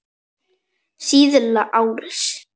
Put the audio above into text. Síðla árs.